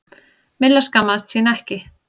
Milla skammaðist sín ekki.